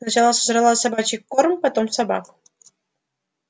сначала сожрала собачий корм потом собак